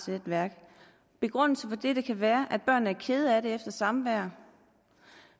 netværk begrundelsen for dette kan være at børnene er kede af det efter samværet